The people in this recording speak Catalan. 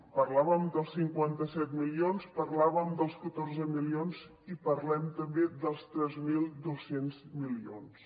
parlàvem dels cinquanta set milions parlàvem dels catorze milions i parlem també dels tres mil dos cents milions